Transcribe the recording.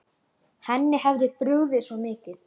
Henni hafði brugðið svo mikið.